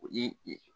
I